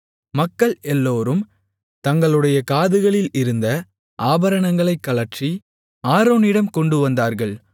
மக்கள் எல்லோரும் தங்களுடைய காதுகளில் இருந்த ஆபரணங்களைக் கழற்றி ஆரோனிடம் கொண்டுவந்தார்கள்